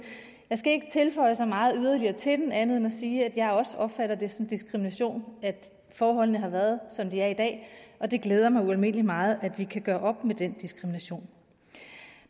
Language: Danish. jeg skal ikke tilføje så meget yderligere til den andet end at sige at jeg også opfatter det som diskrimination at forholdene har været som de er i dag og det glæder mig ualmindelig meget at vi kan gøre op med den diskrimination